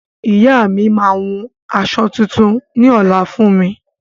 Ìyá mi maa hun aṣọ tuntun ní ọ̀la fún mi